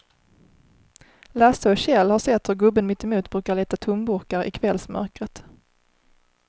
Lasse och Kjell har sett hur gubben mittemot brukar leta tomburkar i kvällsmörkret.